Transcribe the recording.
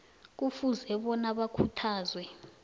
kufuze bona bakhuthazwe